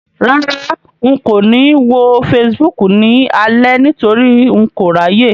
Rárá, n kò ní wo Facebook ni alẹ́ nítorí n kò ráyè.